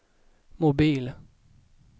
mobil